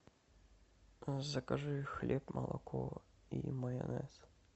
закажи хлеб молоко и майонез